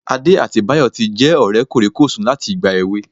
Adé àti Báyọ̀ tí jẹ́ ọ̀rẹ́ kòríkòsùn láti ìgbà èwe